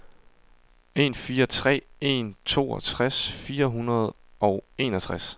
en fire tre en treogtres fire hundrede og enogtres